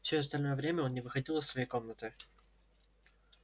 всё остальное время он не выходил из своей комнаты